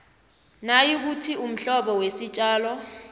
nayikuthi umhlobo wesitjalo